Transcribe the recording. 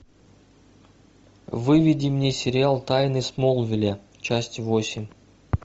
выведи мне сериал тайны смолвиля часть восемь